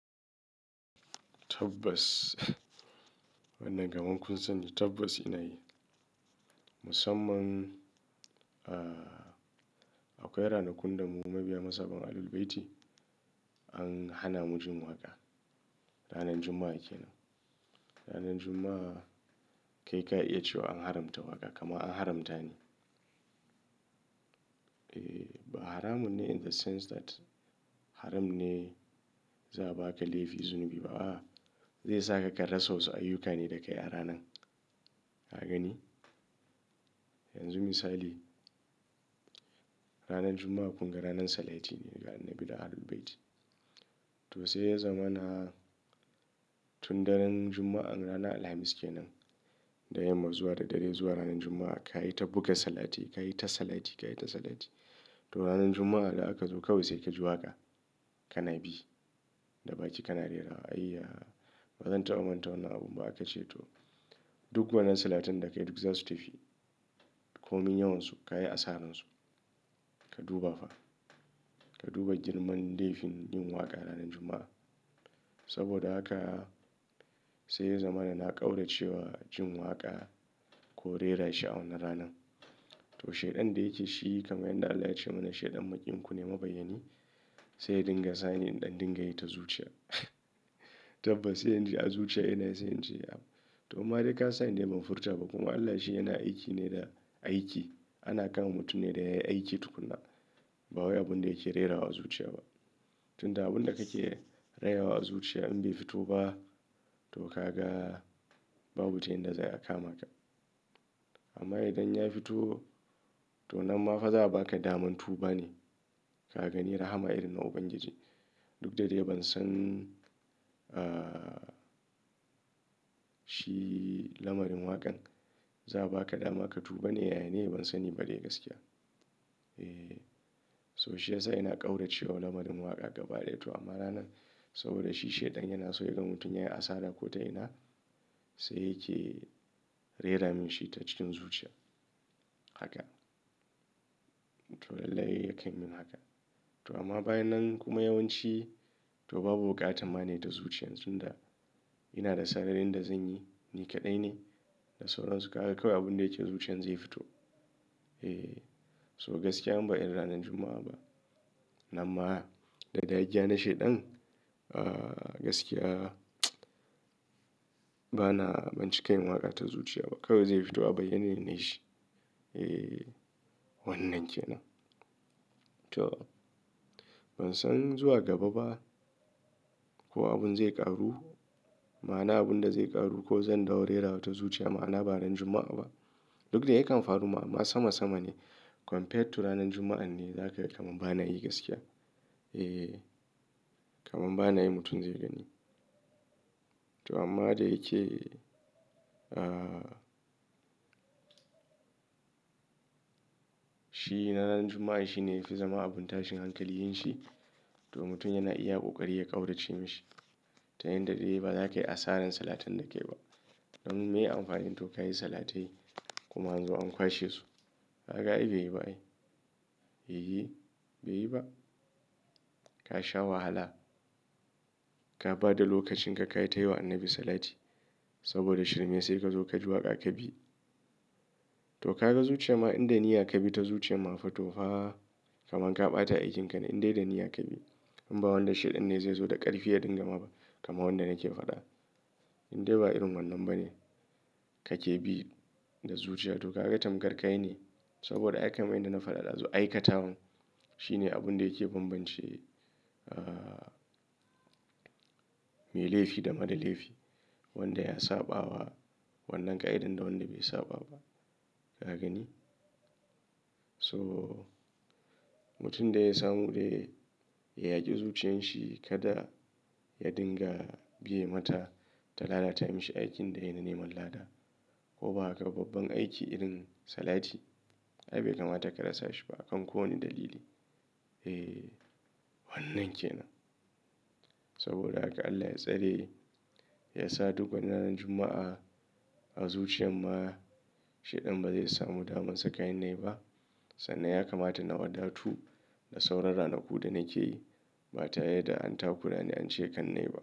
Tabbas, wannan kaman kun sani tabbas ina yi. Musamman, ah, akwai ranakun da mu mabiya mazhaban Ahlul-Bayti an hana mu jin waƙa. Ranan Juma'a kenan. Ranar Juma'a, kai ka iya cewa an haramta waƙa, kaman an haramta ne. Ba haramun ne in the sense that, haram ne za'a ba ka laifi-- zunubi ba, a'a, Zai saka ka rasa wasu ayyuka ne da kai a ranan. Ka gani? Yanzu misali, ranar Juma'a kun ga ranan salati ne ga Annabi da Ahlul-Bayti. To sai ya zama na, tun daren Juma'an ranar Alhamis kenan, da yamma zuwa da dare zuwa ranar Juma'a, ka yi ta buga salati, ka yi ta salati, ka yi ta salati, to ranar Juma'a da aka zo kawai sai ka ji waƙa, ka na bi, da baki ka na rerawa. Ayya! Bazan taɓa manta wannan abun ba aka ce to, duk wannan salatan da kai duk za su tafi. Komin yawansu, ka yi asaransu. Ka duba fa. Ka duba girman laifin yin waƙa ranar Juma'a. Saboda haka, sai ya zama na ƙaurace wa jin waƙa, ko rera shi a wannan ranan. To shaiɗan da yake shi kamar yanda Allah ya ce mana shaiɗan maƙiyin kune mabayyani, sai ya dinga sani in ɗan dinga yi ta zuciya. Tabbas sai inji a zuciya ina yi sai ince to in ma dai ka sani dai ban furta ba, kuma Allah shi yana aiki ne da aiki. Ana kama mutum ne da yayi aiki tukunna, ba wai abun da yake rerawa a zuciya ba. Tun da abun da kake rera wa a zuciya in bai fito ba, to ka ga babu ta yanda za'ai a kama ka. Amma idan ya fito, to nan ma fa za'a ba ka daman tu ba ne, Ka gani rahama irin na Ubangiji. Duk da dai ban san, ah, shi lamarin waƙan, za'a ba ka dama ka tu ba ne yaya ne? Ban sani ba dai gaskiya. Eh. So shi yasa ina ƙaurace wa lamarin waƙa gabaɗaya. To amma ranan, saboda shi shaiɗan yana so yaga mutum yayi asara ko ta ina, sai yake reramin shi ta cikin zuciya. Haka. To lallai yakan min haka. To amma bayan nan kuma yawanci, to babu buƙatan ma ne ta zuciyan. Tun da, ina da sararin da zan yi, ni kaɗai ne da sauran su. Kaga kawai abun da yake zuciyan zai fito. Eh. So gaskiya in ba irin ranar Juma'a ba, nan ma, da dagiya na shaiɗan, ah, gaskiya, bana, banci ka yin waƙa ta zuciya ba. Kawai zai fito abayyane inyi shi. Eh, wannan kenan. To ban san zuwa gaba ba, ko abun zai ƙaru, ma'ana abun da zai ƙaru, ko zan dawo rerawa ta zuciya ma'ana ba ranar Juma'a ba. Duk da ya kan faru mun, amma sama-sama ne, compared to ranar Juma'an ne za ka ga kamar bana yi gaskiya. Eh, kamar bana yi mutum zai gani. To amma dai yake, ah, shi ranar Juma'a shi ne ya fi zama abun tashin hankali yin shi, to mutum yana iya ƙoƙari ya ƙaurace mishi. Ta yanda dai ba za ka yi asarar salatin da kayi ba. Dan maye amfanin to ka yi salatai kuma an zo an kwashe su. Ka ga ai bai yi ba ai. Eyi, bai yi ba. Ka sha wahala. Ka bada lokacin ka ka yi ta yi wa Annabi salati, saboda shirmen sai ka zo ka ji waƙa ka bi. To ka ga zuciya ma in da niyya kabi ta zuciyan ma fa fito fa, kaman ka ɓata aikin ka ne in dai da niyya kabi. In ba wanda shaidan ne zai zo da ƙarfi ya dingama ba, kamar wanda nake faɗa. In dai ba irin wannan ba ne, ka ke bi, da zuciya to ka ga tamkar ka yi ne, saboda ai kaman yanda na faɗa ɗazu aikata wan, Shi ne abun da yake bambance, ah, mai laifi da mara laifi. Wanda ya saɓa wa wannan ƙa'idar da wanda bai saɓa ba. Ka gani? So, mutum dai ya samu dai, ya yaƙi zuciyan shi, kada ya dinga biye mata, ta lalata mishi aikin da yayi na neman lada, ko ba haka ba babban aiki irin salati Ai bai kamata ka rasa shi ba akan ko wane dalili. Eh wannan kenan. Saboda haka Allah ya tsare, ya sa duk wannan ranar Juma'a, a zuciyar ma shaiɗan ba zai samu daman sa ka ni na yi ba. Sannan ya kamata na wadatu da sauran ranaku da na ke yi, ba tare da an takura ni an ce kan na yi ba.